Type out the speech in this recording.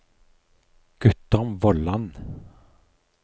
Guttorm Vollan